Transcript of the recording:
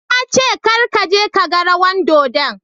Na ce Kar ka je ka gan rawan dodon.